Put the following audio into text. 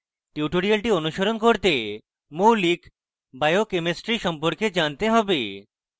tutorial অনুসরণ করতে মৌলিক বায়োকেমিস্ট্রি সম্পর্কে জানতে have